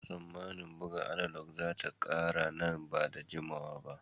Ana tsamman buga analog za ta ƙare nan ba da jimawa ba.